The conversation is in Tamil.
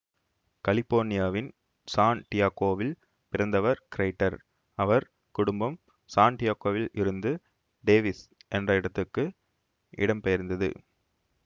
கலிபோர்னியாவின் சான் டியேகோவில் பிறந்தவர் கிரெய்டர் அவர் குடும்பம் சான் டியேகோவில் இருந்து டேவிஸ் என்ற இடத்துக்கு இடம்பெயர்ந்தது